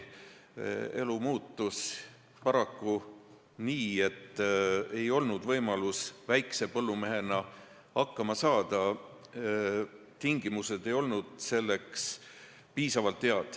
Elu muutus paraku nii, et ei olnud võimalust väikse põllumehena hakkama saada, tingimused ei olnud selleks piisavalt head.